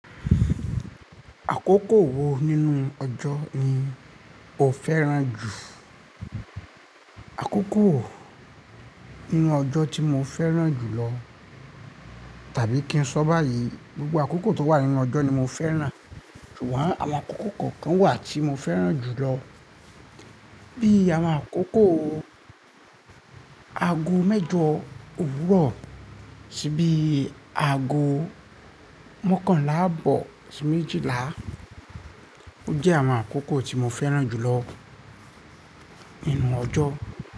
Àkókò wo nínú ọjọ́ ni o fẹ́ràn jù? Àkókò nínú ọjọ́ tí mo fẹ́ràn jù lọ tàbí kí n sọ báyìí, gbogbo àkókò tó wà nínú ọjọ́ ni mo fẹ́ràn. Ṣùgbọ́n àwọn àkókò kọ̀ọ̀kan wà tí mo fẹ́ràn jù lọ, bí i àwọn àkókò aago mẹ́jọ òwúrọ̀ sí bí i aago mọ́kànlá àbọ̀ sí méjìlá. Ó jẹ́ àwọn àkókò tí mo fẹ́ràn jù lọ nínú ọjọ́